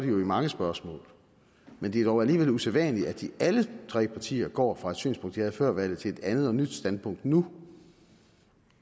jo i mange spørgsmål men det er dog alligevel usædvanligt at alle tre partier går fra et synspunkt de havde før valget til et andet og nyt standpunkt nu